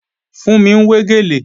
Fúnmi ń wé gèlè